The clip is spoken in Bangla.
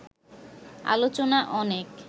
আলোচনা অনেক